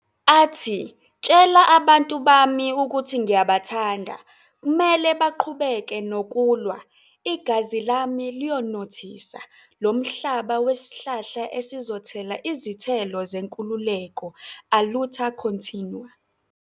athi " Tshela abantu bami ukuthi ngiyabathanda, kumele baqhubeke nokulwa, igazi lami liyonothisa lomhlaba wesihlahla esizothela izithelo zenkululeko, Aluta continua."